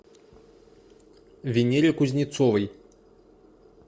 венере кузнецовой